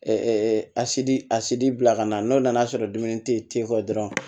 a sidi a sidi bila ka na n'o nan'a sɔrɔ dumuni tɛ ye ten o dɔrɔn